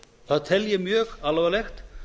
það tel ég mjög alvarlegt